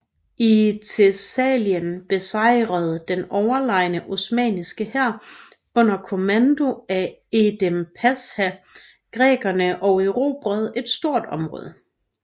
I Thessalien besejrede den overlegne osmanniske hær under kommando af Edhem Pasha grækerne og erobrede et stort område